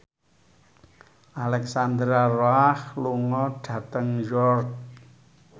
Alexandra Roach lunga dhateng York